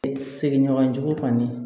Seginɲɔgɔnjugu kɔni